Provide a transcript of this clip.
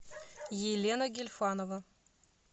елена гильфанова